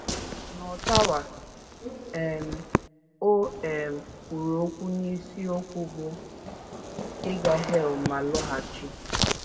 N’Ottawa, um o um kwuru okwu n’isiokwu bụ́ “ Ịga Hel Ma Lọghachi. ”